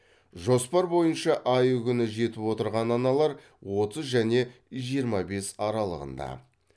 жоспар бойынша айы күні жетіп отырған аналар отыз және жиырма бес аралығында